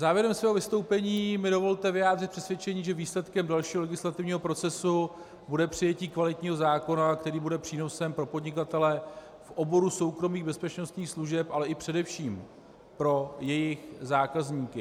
Závěrem mého vystoupení mi dovolte vyjádřit přesvědčení, že výsledkem dalšího legislativního procesu bude přijetí kvalitního zákona, který bude přínosem pro podnikatele v oboru soukromých bezpečnostních služeb, ale i především pro jejich zákazníky.